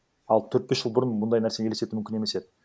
ал төрт бес жыл бұрын мұндай нәрсені елестету мүмкін емес еді